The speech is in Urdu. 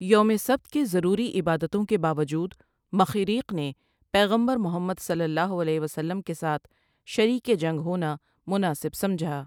یوم سبت کے ضروری عبادتوں کے باوجود مخیریق نے پیغمبر محمد صلی الله علیه وسلم کے ساتھ شریک جنگ ہونا مناسب سمجھا ۔